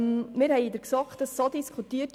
Wir haben es in der GSoK diskutiert.